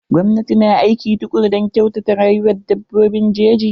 Gwamnati na aiki tukuru don kyautata rayuwan dabbobin jeji.